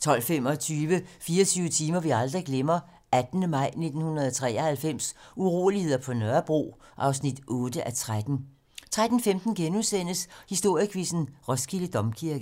12:25: 24 timer vi aldrig glemmer: 18. maj 1993 uroligheder på Nørrebro (8:13) 13:15: Historiequizzen: Roskilde Domkirke *